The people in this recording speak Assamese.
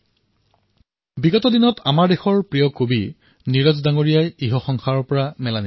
কিছুদিন পূৰ্বে আমাৰ দেশৰ প্ৰিয় কবি নীৰজ মহোদয়ে আমাক এৰি গুচি গল